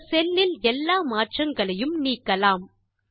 இந்த செல் இல் எல்லா மாற்றங்களையும் நீக்கலாம்